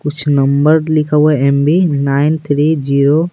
कुछ नंबर लिखा हुआ है एमबी नाइन थ्री ज़िरो --